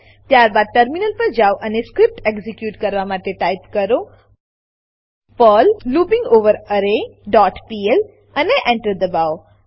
ત્યારબાદ ટર્મિનલ પર જાવ અને સ્ક્રીપ્ટ એક્ઝીક્યુટ કરવા માટે ટાઈપ કરો પર્લ લૂપિંગઓવરરે ડોટ પીએલ અને Enter દબાવો